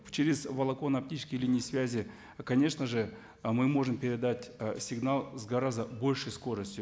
через волоконно оптические линии связи конечно же ы мы можем передать ы сигнал с гораздо большей скоростью